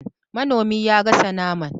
Manomi ya gasa naman